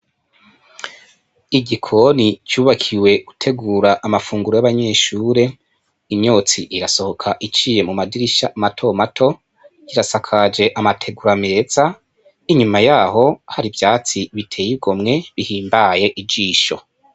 Igikoni cubakiwe gutegura amafunguro y'abanyeshure imyotsi irasohoka iciye mu madirisha mato mato kirasakaje amategura ameza inyuma yaho hari ivyatsi biteye igomwe bihimbaye ijisho.